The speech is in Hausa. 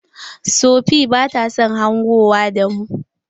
Sofee bata son hangowa da mu.